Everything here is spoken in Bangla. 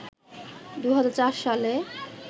২০০৪ সালে